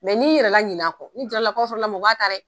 n'i yɛrɛ laɲina kɔ, ni jaralakaw sɔrɔ mɔgɔ b'a ta dɛ.